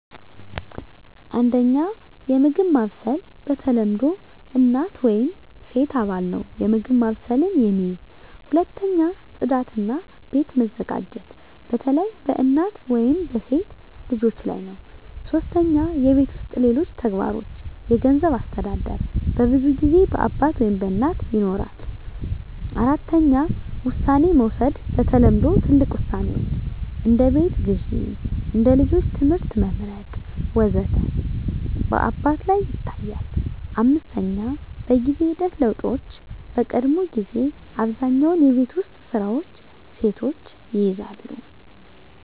1. የምግብ ማብሰል በተለምዶ እናት ወይም ሴት አባል ነው የምግብ ማብሰልን የሚይዝ። 2. ጽዳት እና ቤት መዘጋጀት በተለይ በእናት ወይም በሴት ልጆች ላይ ነው 3. የቤት ውስጥ ሌሎች ተግባሮች የገንዘብ አስተዳደር በብዙ ጊዜ በአባት ወይም በእናት ይኖራል። 4. ውሳኔ መውሰድ በተለምዶ ትልቅ ውሳኔዎች (እንደ ቤት ግዢ፣ እንደ ልጆች ትምህርት መመርጥ ወዘተ) በአባት ላይ ይታያል፣ 5. በጊዜ ሂደት ለውጦች በቀድሞ ጊዜ አብዛኛውን የቤት ውስጥ ስራዎች ሴቶች ይይዛሉ